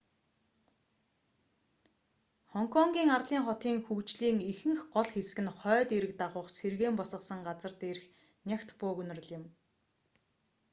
хонконгийн арлын хотын хөгжлийн ихэнх гол хэсэг нь хойд эрэг дагуух сэргээн босгосон газарх дээрх нягт бөөгнөрөл юм